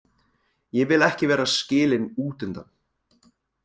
Ég vil ekki vera skilin útundan.